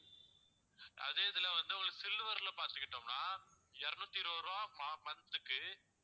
அதே இதுல வந்து உங்களுக்கு silver ல பாத்துக்கிட்டோம்னா இருநூத்தி இருபது ரூபாய் மா~ month க்கு